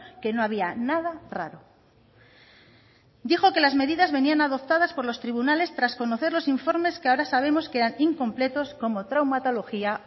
que no había nada raro dijo que las medidas venían adoptadas por los tribunales tras conocer los informes que ahora sabemos que eran incompletos como traumatología